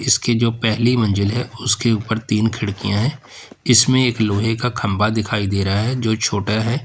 इसकी जो पहली मंजिल है उसके ऊपर तीन खिड़कियां हैं इसमें एक लोहे का खंभा दिखाई दे रहा है जो छोटा है।